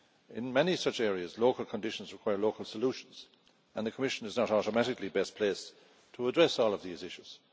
In many such areas, local conditions require local solutions, and the Commission is not automatically best placed to address all of these issues.